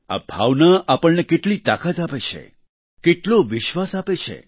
આ ભાવના આપણને કેટલી તાકાત આપે છે કેટલો વિશ્વાસ આપે છે